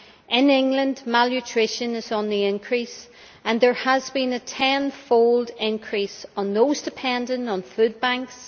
In England malnutrition is on the increase and there has been a tenfold increase in those dependent on food banks.